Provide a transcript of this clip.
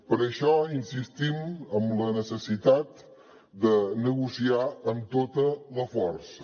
per això insistim en la necessitat de negociar amb tota la força